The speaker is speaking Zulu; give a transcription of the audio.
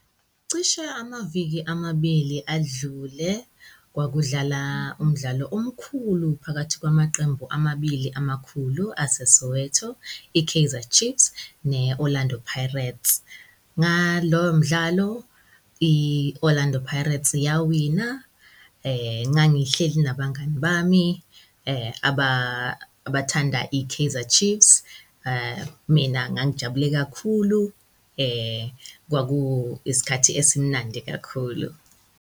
Cishe amaviki amabili adlule kwakudlala umdlalo omkhulu phakathi kwamaqembu amabili amakhulu aseSoweto, i-Kaizer Chiefs ne-Orlando Pirates. Ngalowo mdlalo i-Orlando Pirates yawina ngangihleli nabangani bami abathanda i-Kaizer Chiefs, mina ngangijabule kakhulu kwaku isikhathi esimnandi kakhulu.